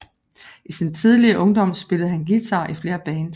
I sin tidlige ungdom spillede han guitar i flere bands